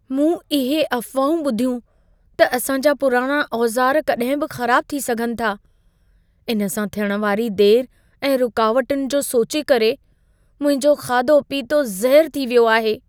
मूं इहे अफ़वाहूं ॿुधियूं त असां जा पुराणा औज़ार कॾहिं बि ख़राबु थी सघनि था। इन सां थियण वारी देरि ऐं रुकावटुनि जो सोचे करे मुंहिंजो खाधो पीतो ज़हरु थी वियो आहे।